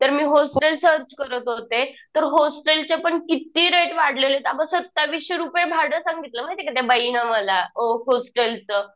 तर मी hostel search करत होते. तर होस्टेलचे पण किती रेट वाढलेले आहेत. अगं सत्ताविसशे रुपये भाडं सांगितलं माहितीये का त्या बाईने मला होस्टेलचं.